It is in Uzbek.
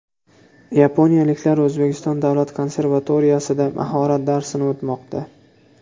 Yaponiyaliklar O‘zbekiston davlat konservatoriyasida mahorat darsini o‘tmoqda.